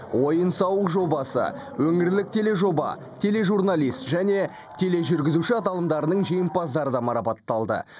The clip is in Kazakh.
ойын сауық жобасы өңірлік тележоба тележурналист және тележүргізуші аталымдарының жеңімпаздары да марапатталды